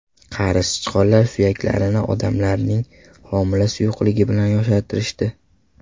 Qari sichqonlar suyaklarini odamning homila suyuqligi bilan yoshartirishdi.